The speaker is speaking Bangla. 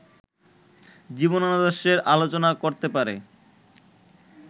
জীবনাদর্শের আলোচনা চলতে পারে